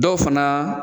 Dɔw fana